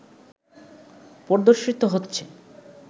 প্রদর্শিত হচ্ছে